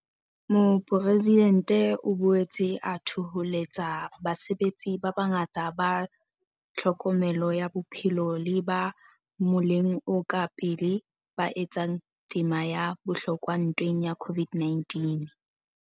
Mopresidentse o boetse a thoholetsa basebetsi ba bangata ba tlhokomelo ya bophelo le ba moleng o ka pele ba etsang tema ya bohlokwa ntweng ya COVID-19.